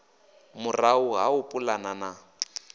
murahu ha u pulana na